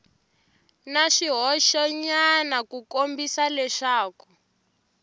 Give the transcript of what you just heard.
na swihoxonyana ku kombisa leswaku